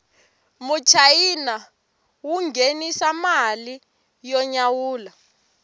muchayina wu nghenisa mali yo nyawula